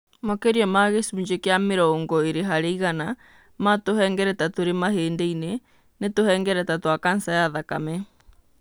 Makĩria ma gĩcunjĩ kĩa mĩrongo ĩrĩ harĩ igana ma tũhengereta tũrĩ mahĩndĩ-inĩ, nĩ tũhengereta twa kanca ya thakame.